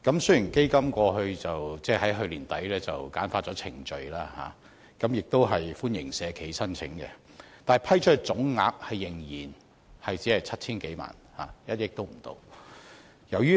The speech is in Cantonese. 雖然基金於去年年底簡化程序，同時歡迎社企申請，但所批出總額仍然只有 7,000 多萬元，是不足1億元。